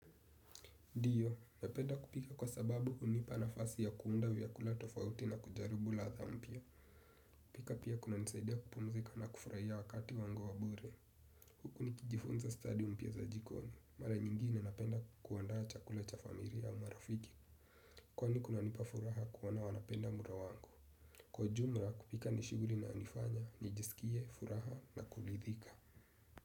Ndio, napenda kupika kwa sababu hunipa nafasi ya kuunda vyakula tofauti na kujaribu ladha mpya. Kupika pia kunanisaidia kupumzika na kufurahia wakati wangu wa bure. Huku nikijifunza stadi mpya za jikoni. Mara nyingine napenda kuandaa chakula cha familia au marafiki. Kwani kunanipa furaha kuona wanapenda mlo wangu. Kwa jumla kupika ni shughuli inayonifanya, nijisikie, furaha na kuridhika.